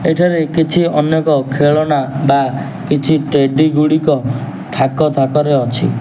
ଏଠାରେ କିଛି ଅନେକ ଖେଳନା ବା କିଛି ଟେଡି ଗୁଡ଼ିକ ଥାକ ଥାକରେ ଅଛି।